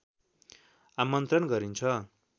आमन्त्रण गरिन्छ